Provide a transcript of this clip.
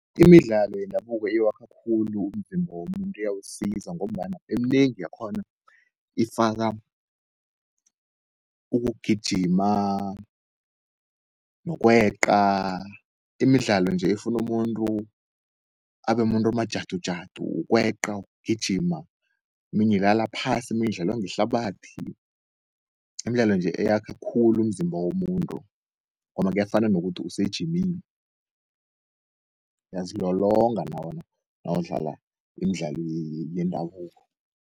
Imidlalo yendabuko iwakha khulu umzimba womuntu iyawusiza ngombana eminengi yakhona ifaka, ukugijima nokweqa. Imidlalo nje efunu umuntu abemuntu omajadujadu ukweqa, ugijima, eminye ulala phasi, iminye udlala ngehlabathi. Imdlalo nje eyakha khulu umzimba womuntu, ngoba kuyafana nokuthi usejimini. Uyazilolonga nawudlala imdlalo yendabuko.